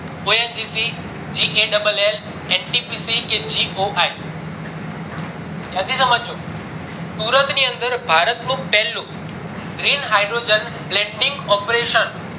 ધ્યાનથી સમજજો સુરત ની અંદર ભારત નું પેલું green hydrogen planting operation